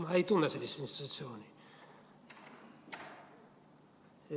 Ma ei tunne sellist institutsiooni.